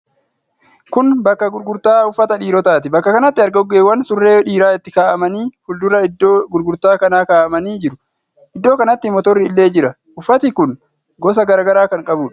Kun bakka gurgurtaa uffata dhiirotaati. Bakka kanatti argoggeewwan surree dhiira itti kaa'amanii fuuldura iddoo gurgurtaa kanaa kaa'amanii jiru. Iddoo kanatti motorri illee jira. Uffati kun gosa garaa garaa kan qabuudha.